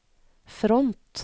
front